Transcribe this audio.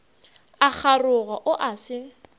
a kgaroga o a se